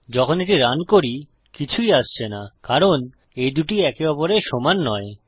যখন এটি রান করি কিছুই আসছে না কারণ এই দুটি একে অপরের সমান নয়